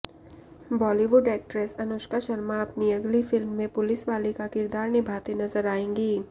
Bollywood actress Anushka Sharma अपनी अगली film में पुलिस वाली का किरदार निभाते नजर आएंगी